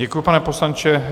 Děkuji, pane poslanče.